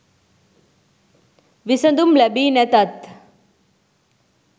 විසඳුම් ලැබි නැතත්